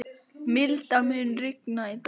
Milda, mun rigna í dag?